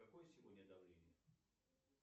какое сегодня давление